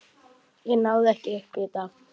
Ég náði ekki upp í þetta.